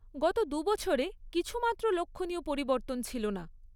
গত দুবছরে কিছুমাত্র লক্ষণীয় পরিবর্তন ছিল না।